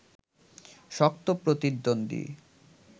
শক্ত প্রতিদ্বন্দ্বী